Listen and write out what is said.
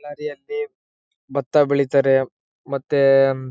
ನದಿಯಲ್ಲಿ ಬತ್ತ ಬೆಳೀತಾರೆ ಮತ್ತೆ--